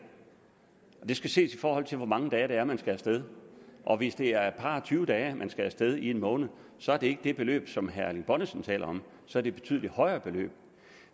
det skal ses i forhold til hvor mange dage det er man skal af sted hvis det er et par og tyve dage man skal af sted i en måned så er det ikke det beløb som herre erling bonnesen taler om så det betydelig højere beløb